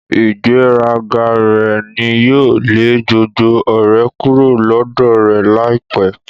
Ígbèraga rẹ ní yóò lè gbogbo ọ̀rẹ́ kúrò lọ́dọ̀ rẹ láìpẹ́.